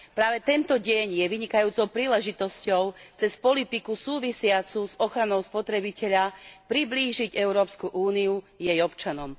Práve tento deň je vynikajúcou príležitosťou cez politiku súvisiacu s ochranou spotrebiteľa priblížiť Európsku úniu jej občanom.